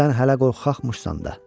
Sən hələ qorxaqmşısan da.